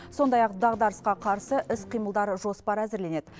сондай ақ дағдарысқа қарсы іс қимылдар жоспары әзірленеді